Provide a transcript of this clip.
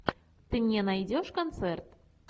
ты мне найдешь концерт